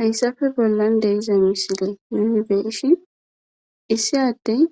Hayssafe bollan de'iza misile nuni be'ishshin issi addey